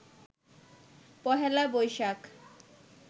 Pohela Boishakh